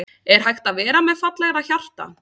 Er hægt að vera með fallegra hjarta?